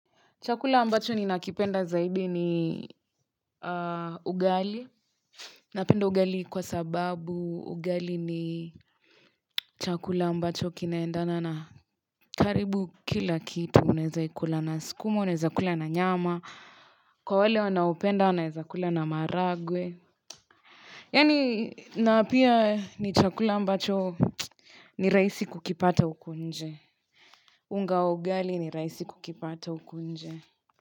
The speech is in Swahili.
Chakula ambacho ni nakipenda zaidi ni ugali. Napenda ugali kwa sababu ugali ni chakula ambacho kinaendana na karibu kila kitu. Unaeza ikula na skuma, unaeza kula na nyama. Kwa wale wanaopenda, wanaeza kula na maharagwe. Yani napia ni chakula ambacho ni raisi kukipata uku nje. Unga ugali ni raisi kukipata uku nje.